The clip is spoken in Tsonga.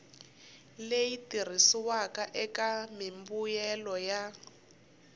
leyi tirhisiwaka eka mimbuyelo ya